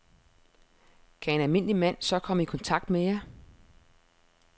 Kan en almindelig mand så komme i kontakt med jer?